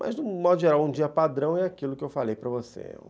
Mas, de um modo geral, um dia padrão é aquilo que eu falei para você.